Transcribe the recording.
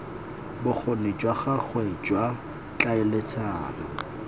bokgoni jwa gagwe jwa tlhaeletsano